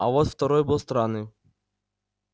а вот второй был странным